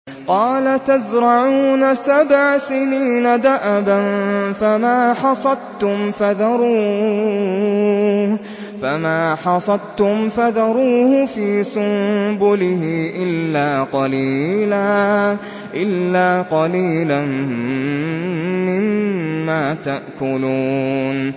قَالَ تَزْرَعُونَ سَبْعَ سِنِينَ دَأَبًا فَمَا حَصَدتُّمْ فَذَرُوهُ فِي سُنبُلِهِ إِلَّا قَلِيلًا مِّمَّا تَأْكُلُونَ